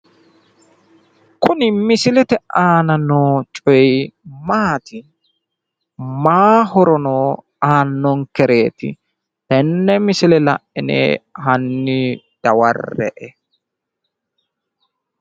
Kuni misilete aana noo coyi maati? Mayi horo no aannonkereet? Tenne misile la'ine hanni dawarre'e.